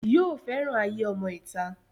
yóò fẹ́ràn ayé ọmọ ìta